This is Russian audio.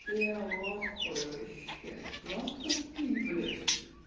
я в ахуе вообще нахуй так пить блять